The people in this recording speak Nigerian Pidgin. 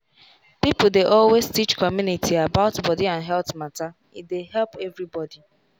people dey always teach community about body and health matter e dey help everybody.